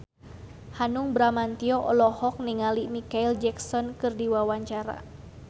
Hanung Bramantyo olohok ningali Micheal Jackson keur diwawancara